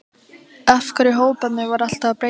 Af hverju hóparnir voru alltaf að breytast?